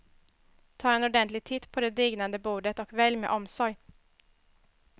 Ta en ordentlig titt på det dignande bordet och välj med omsorg.